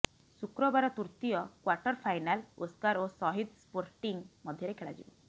ଶୁକ୍ରବାର ତୃତୀୟ quarter final Oscar ଓ ସହିଦ ସ୍ପୋର୍ଟିଂ ମଧ୍ୟରେ ଖେଳାଯିବ